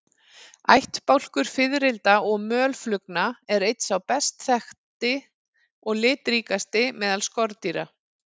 Ættbálkur fiðrilda og mölflugna er einn sá best þekkti og litríkasti meðal skordýra.